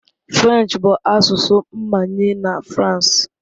French bụ asụsụ mmanye na France.